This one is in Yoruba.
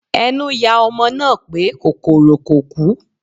Ẹnu yà ọmọ náà pé kòkòrò kò kú